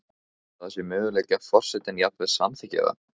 Heldurðu að það sé möguleiki að forsetinn jafnvel samþykki það?